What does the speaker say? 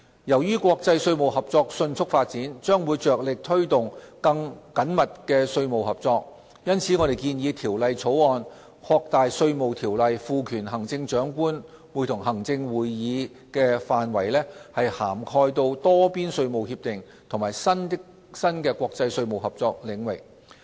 由於國際稅務合作迅速發展，將會着力推動更緊密的稅務合作，因此我們提出《條例草案》，擴大《稅務條例》賦權行政長官會同行政會議的範圍至涵蓋多邊稅務協定和新的國際稅務合作領域。